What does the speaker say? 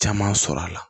Caman sɔrɔ a la